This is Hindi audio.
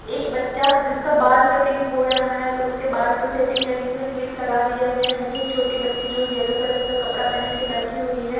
एक बच्चा जिसका बाल कटिंग हो रहा है तो उसके बाल को सेटिंग करने के लिए क्लिप लगा दिया गया है वहीं एक छोटी बच्ची जो येलो कलर का कपड़ा पहन के बैठी हुई हैं।